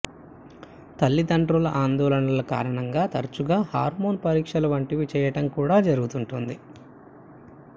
తల్లిదండ్రుల ఆందోళనల కారణంగా తరచుగా హార్మోన్ పరీక్షల వంటివి చెయ్యటం కూడా జరుగుతుంటుంది